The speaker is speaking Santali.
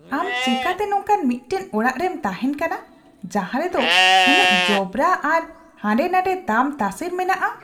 ᱟᱢ ᱪᱮᱠᱟᱛᱮ ᱱᱚᱝᱠᱟᱱ ᱢᱤᱫᱴᱟᱝ ᱚᱲᱟᱜ ᱨᱮᱢ ᱛᱟᱦᱮᱱ ᱠᱟᱱᱟ ᱡᱟᱦᱟᱸᱨᱮ ᱫᱚ ᱩᱱᱟᱜ ᱚᱵᱽᱨᱟ ᱟᱨ ᱦᱟᱱᱰᱮᱼᱱᱷᱟᱰᱮ ᱛᱟᱢᱛᱟᱥᱮᱨ ᱢᱮᱱᱟᱜᱼᱟ ? (ᱟᱭᱳ)